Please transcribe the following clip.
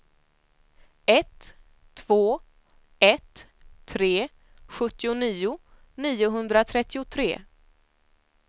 ett två ett tre sjuttionio niohundratrettiotre